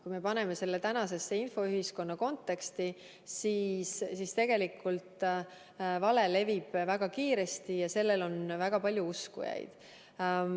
Kui me paneme selle tänase infoühiskonna konteksti, siis näeme, et tegelikult vale levib väga kiiresti ja sellel on väga palju uskujaid.